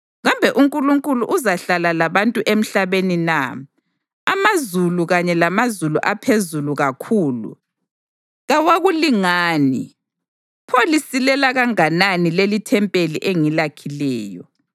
Kambe uNkulunkulu uzahlala labantu emhlabeni na? Amazulu, kanye lamazulu aphezulu kakhulu, kawakulingani. Pho lisilela kanganani lelithempeli engilakhileyo!